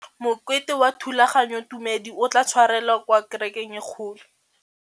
Mokete wa thulaganyôtumêdi o tla tshwarelwa kwa kerekeng e kgolo.